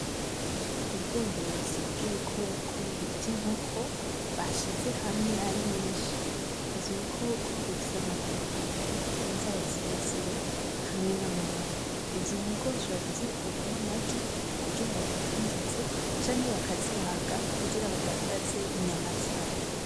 Ubworozi bw'ibikoko bita inkoko, bashize hamwe ari nyinshi. Ivyo bikoko bifise amaguru abiri, inzara zirezire hamwe n'amababa. Izo nkoko bashobora kuzikuramwo amagi, kugira bayadandaze canke bakazibaga kugira badandaze inyama zayo.